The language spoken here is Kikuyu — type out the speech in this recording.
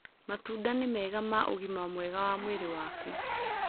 Matũnda nĩ mega ma ũgĩma mwega wa mwĩrĩ waku